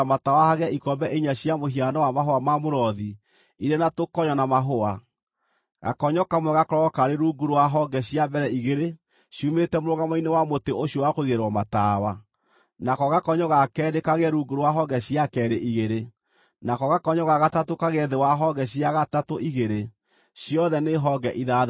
Gakonyo kamwe gakorwo karĩ rungu rwa honge cia mbere igĩrĩ ciumĩte mũrũgamo-inĩ wa mũtĩ ũcio wa kũigĩrĩrwo matawa, nako gakonyo ga keerĩ kagĩe rungu rwa honge cia keerĩ igĩrĩ, nako gakonyo ga gatatũ kagĩe thĩ wa honge cia gatatũ igĩrĩ, ciothe nĩ honge ithathatũ.